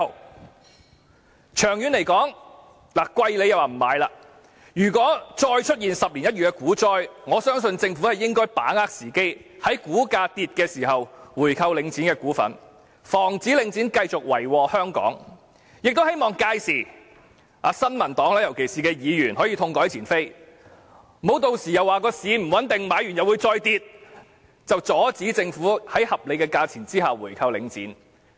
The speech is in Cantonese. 股價昂貴時，他們說不應回購，但長遠來說，如果再出現10年一遇的股災，我相信政府應該把握時機，在股價下跌時購回領展的股份，防止領展繼續為禍香港，亦希望屆時，尤其是新民黨的議員能痛改前非，不要又以股市不穩定，購回股份後股價仍會下跌為由，阻止政府在合理的價錢下購回領展。